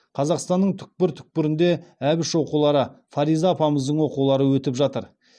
қазақстанның түкпір түкпірінде әбіш оқулары фариза апамыздың оқулары өтіп жатыр